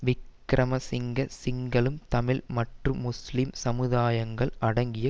விக்கிரம சிங்க சிங்களம் தமிழ் மற்றும் முஸ்லிம் சமுதாயங்கள் அடங்கிய